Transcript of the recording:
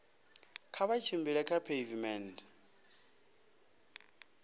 kha vha tshimbile kha pheivimennde